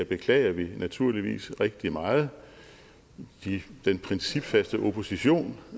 beklager vi naturligvis rigtig meget den principfaste opposition